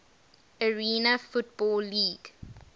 arena football league